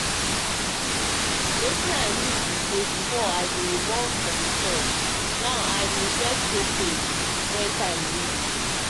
wetin i mean be say before i dey um run from shot now i dey first show face when um time reach.